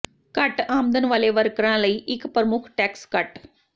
ਘੱਟ ਆਮਦਨ ਵਾਲੇ ਵਰਕਰਾਂ ਲਈ ਇੱਕ ਪ੍ਰਮੁੱਖ ਟੈਕਸ ਕੱਟ